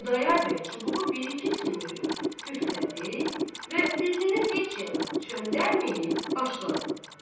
Xudayar bəy çubuğu bir-iki sümürüb, püflədi və üzünü heç yana çöndərməyib başladı: